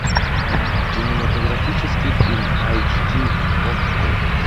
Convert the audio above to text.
кинематографический фильм айч ди окко